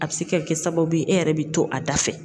A bɛ se ka kɛ sababu ye e yɛrɛ bɛ to a da fɛ.